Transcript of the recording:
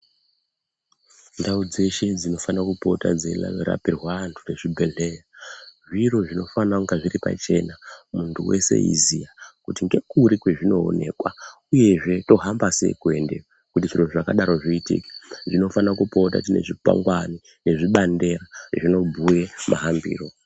Ndau dzeshe dzinofana kupota dzeirapirwa antu dzezvibhedhlera. Zviro zvinofanira kunge zviripachena muntu veshe eiziya, kuti ngekuri kwazvinoonekwa, uyezve tohamba sei kuendeyo zvakadaro zvoitike tinofana kupota tine zvikwangani nezvibandela zvinobhuya mahambiro.